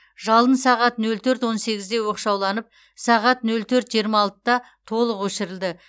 жалын сағат нөл төрт он сегізде оқшауланып сағат нөл төрт жиырма алтыда толық өшірілді